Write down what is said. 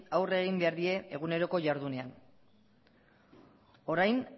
aurre egin behar die eguneroko jardunean orain